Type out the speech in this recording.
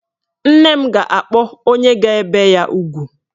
Nne m ga-akpọ onye ga-ebe ya ugwu.